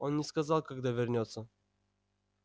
он не сказал когда вернётся